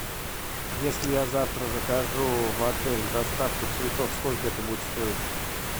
если я завтра закажу в отель доставку цветов сколько это будет стоить